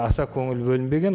аса көңіл бөлінбеген